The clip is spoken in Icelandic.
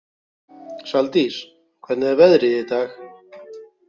Saldís, hvernig er veðrið í dag?